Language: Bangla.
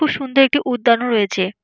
খুব সুন্দর একটি উদ্যান ও রয়েছে।